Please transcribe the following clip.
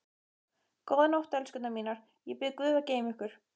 Góða nótt, elskurnar mínar, ég bið guð að geyma ykkur.